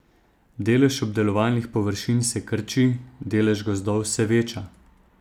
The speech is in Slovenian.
Delež obdelovalnih površin se krči, delež gozdov se veča.